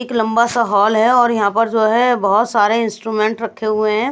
एक लंबा सा हॉल है और यहां पर जो है बहुत सारे इंस्ट्रूमेंट रखे हुए हैं।